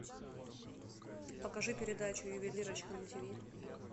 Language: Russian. покажи передачу ювелирочка на ти ви